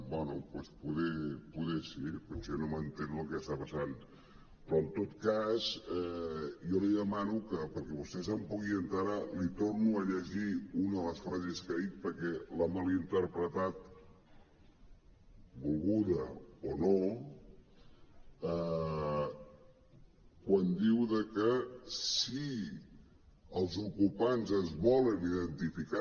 bé doncs potser sí potser no m’entero del que està passant però en tot cas jo li demano que perquè vostè se’n pugui enterar li torno a llegir una de les frases que ha dit perquè l’ha mal interpretat volgudament o no quan diu que si els ocupants es volen identificar